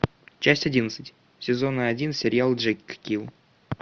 часть одиннадцать сезона один сериал джеккил